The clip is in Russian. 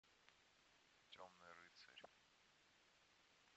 темный рыцарь